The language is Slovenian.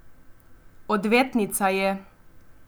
Odvetnica je.